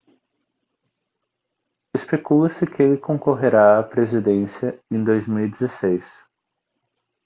especula-se que ele concorrerá à presidência em 2016